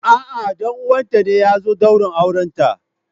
A'a, ɗan uwanta ne ya zo daurin aurenta.